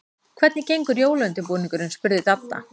Hvernig gengur jólaundirbúningurinn? spurði Dadda.